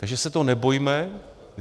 Takže se toho nebojme.